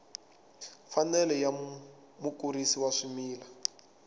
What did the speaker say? mfanelo ya mukurisi wa swimila